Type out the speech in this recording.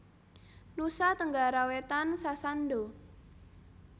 Nusa Tenggara Wétan Sasando